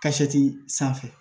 sanfɛ